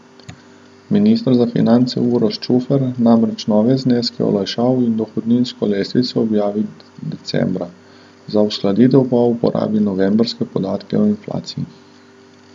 Minister za finance Uroš Čufer namreč nove zneske olajšav in dohodninsko lestvico objavi decembra, za uskladitev pa uporabi novembrske podatke o inflaciji.